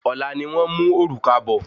Ọlá ni wón mú òrùka bọ